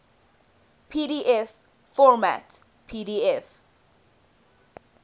pdf format pdf